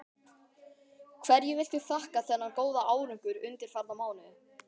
Hverju viltu þakka þennan góða árangur undanfarna mánuði?